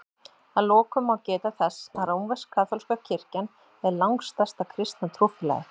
Að lokum má geta þess að rómversk-kaþólska kirkjan er langstærsta kristna trúfélagið.